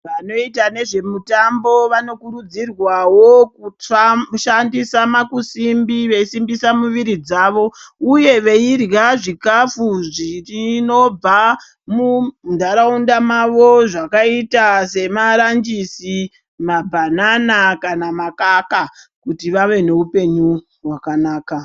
Vanoita nezvemitambo vanokurudzirwawo kushandisa makusimbi veisimbisa muviri dzavo uye veirya zvikafu zvinobva muntaraunda mavo zvakaita semaranjisi, mabanana kana makaka kuti vave neupenyu hwakanaka.